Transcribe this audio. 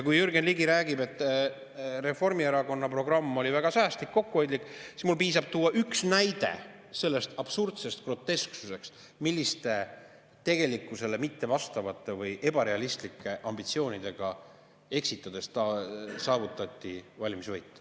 Kui Jürgen Ligi räägib, et Reformierakonna programm oli väga säästlik ja kokkuhoidlik, siis mul piisab tuua üks näide selle absurdse grotesksuse kohta, milliste tegelikkusele mittevastavate või ebarealistlike ambitsioonidega eksitades saavutati valimisvõit.